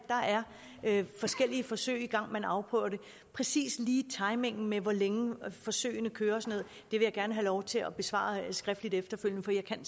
der er forskellige forsøg i gang og man afprøver det præcis lige timingen med hvor længe forsøgene kører vil jeg gerne have lov til at besvare skriftligt efterfølgende for jeg kan